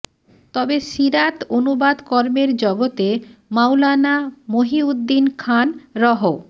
তবে সীরাত অনুবাদ কর্মের জগতে মাওলানা মহিউদ্দিন খান রহ